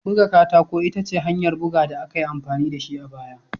Buga katako ita ce hanyar buga da aka yi amfani da shi a baya.